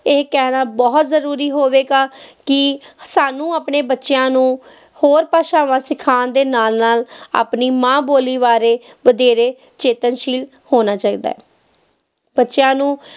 ਇਹ ਕਹਿਣਾ ਬਹੁਤ ਜ਼ਰੂਰੀ ਹੋਵੇਗਾ ਕਿ ਸਾਨੂੰ ਆਪਣੇ ਬੱਚਿਆਂ ਨੂੰ ਹੋਰ ਭਾਸ਼ਾਵਾਂ ਸਿਖਾਉਣ ਦੇ ਨਾਲ ਨਾਲ ਆਪਣੀ ਮਾਂ ਬੋਲੀ ਬਾਰੇ ਵਧੇਰੇ ਚੇਤੰਨਸ਼ੀਲ ਹੋਣਾ ਚਾਹੀਦਾ ਹੈ, ਬੱਚਿਆਂ ਨੂੰ